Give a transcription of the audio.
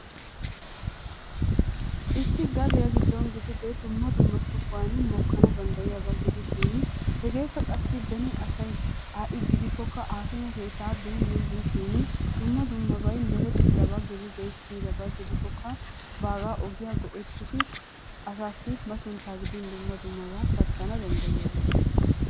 issi gadiya giddon gidide dumma dumma sohuwa mokkana danddayiyaaba gidishin hegeekka beni asay ha'i gidikkoka haakime keettaa beenan dishin dumma dumma meretidaaba gidide, kiyyidaba gidikkoka baaga ogiyaa go''ettidi asassi masuntta gidin dumma dummaba pattana danddayiyaaba.